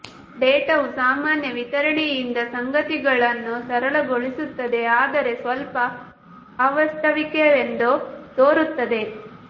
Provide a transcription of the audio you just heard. ಡೇಟಾವು ಸಾಮಾನ್ಯ ವಿತರಣೆಯಿಂದ ಸಂಗತಿಗಳನ್ನು ಸರಳಗೊಳಿಸುತ್ತದೆ ಆದರೆ ಸ್ವಲ್ಪ ಅವಾಸ್ತವಿಕವೆಂದು ತೋರುತ್ತದೆ